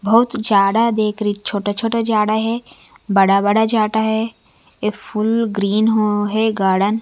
बहुत जाड़ा देख रही छोटा छोटा जाड़ा है बड़ा बड़ा जाटा है ये फूल ग्रीन हो है गाड़न --